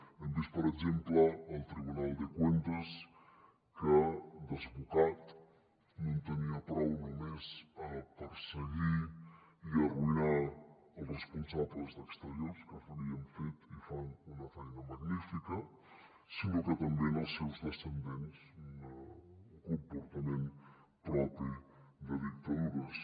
hem vist per exemple el tribunal de cuentas que desbocat no en tenia prou només a perseguir i arruïnar els responsables d’exteriors que havien fet i fan una feina magnífica sinó que també en els seus descendents un comportament propi de dictadures